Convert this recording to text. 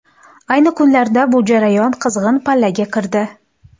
Ayni kunlarda bu jarayon qizg‘in pallaga kirdi.